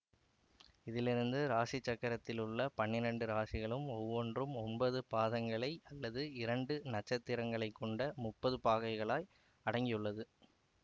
இதிலிருந்து இராசி சக்கரத்திலுள்ள பன்னிரெண்டு இராசிகள் ஒவ்வொன்றும் ஒன்பது பாதங்களை அல்லது இரண்டு நட்சத்திரங்களைக்கொண்ட முப்பது பாகைகளை அடக்கியுள்ளது